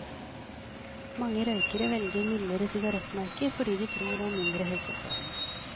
Mange røykere velger mildere sigarettmerker fordi de tror det er mindre helseskadelig.